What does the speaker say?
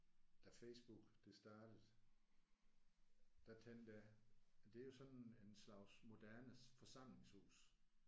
Da Facebook det startede der tænkte jeg det er jo sådan en slags moderne forsamlingshus